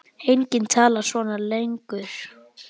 Enginn talar svona lengur.